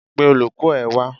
Pe olùkọ́ ẹ wá.